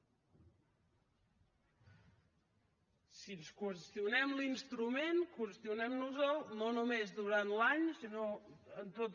si ens qüestionem l’instrument qüestionem nos el no només durant l’any sinó en tot